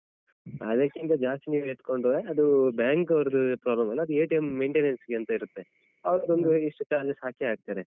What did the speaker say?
ಅದಕ್ಕಿಂತ ಜಾಸ್ತಿ ನೀವು ಎತ್ಕೊಂಡ್ರೆ ಅದು ಅಹ್ bank ಅವುದ್ರು problem ಅಲ್ಲ ಅದು maintenance ಅಂತ ಇರುತ್ತೆ ಅವುರ್ದೊಂದು ಇಷ್ಟು charges ಹಾಕೆ ಹಾಕ್ತರೆ.